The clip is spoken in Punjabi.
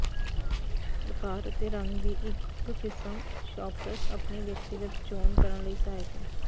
ਆਕਾਰ ਅਤੇ ਰੰਗ ਦੀ ਇੱਕ ਕਿਸਮ ਸ਼ੌਪਰਸ ਆਪਣੇ ਵਿਅਕਤੀਗਤ ਚੋਣ ਕਰਨ ਲਈ ਸਹਾਇਕ ਹੈ